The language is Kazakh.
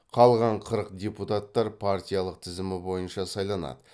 қалған қырық депутаттар партиялық тізім бойынша сайланады